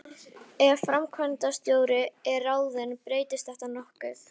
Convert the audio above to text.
Ef framkvæmdastjóri er ráðinn breytist þetta nokkuð.